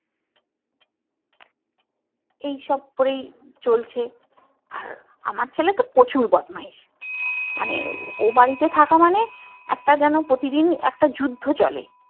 এই সব করেই চলছে আর আমার ছেলে তো প্রচুর বদমাইশ মানে ও বাড়িতে থাকা মানে একটা যেন প্রতিদিন একটা যুদ্ধ চলে